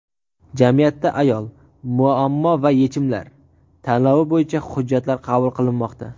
"Jamiyatda ayol: muammo va yechimlar" tanlovi bo‘yicha hujjatlar qabul qilinmoqda.